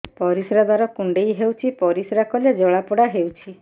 ପରିଶ୍ରା ଦ୍ୱାର କୁଣ୍ଡେଇ ହେଉଚି ପରିଶ୍ରା କଲେ ଜଳାପୋଡା ହେଉଛି